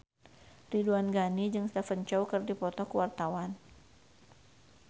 Ridwan Ghani jeung Stephen Chow keur dipoto ku wartawan